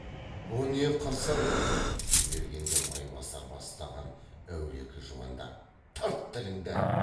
бұ не қырсығың дей бергенде майбасар бастаған әулекі жуандар тарт тіліңді